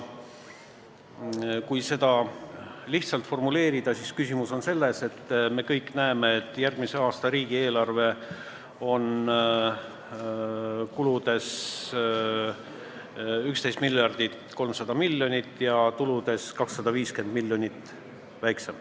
Kui seda lihtsalt formuleerida, siis küsimus on selles, et me kõik näeme, et järgmise aasta riigieelarve kulud on 11 300 000 000, aga tulude maht on 250 000 000 väiksem.